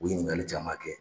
U ye ɲininkali caman kɛ.